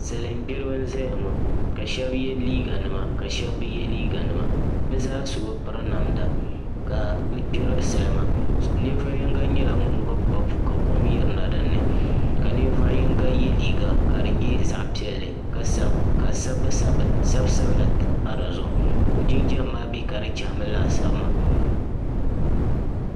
Salin gbiribi n ʒɛya ŋo ka shaba yʋ liiga nima lka shaba bi yɛ liiga nima bi zaa so bi piri namda ka bi gbiri salma ninvuɣu yonga nyɛla ŋun gbubi papu ka kom yirina dinni ka ninvuɣu yinga yɛ liiga piɛlli ka sabisabila pa di zuɣu ka o jinjɛm maa bɛ ka di chahami laasabu maa